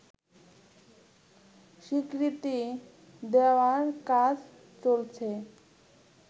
স্বীকৃতি দেওয়ার কাজ চলছে